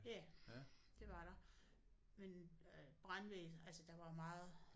Ja det var der men øh brandvæsenet altså der var meget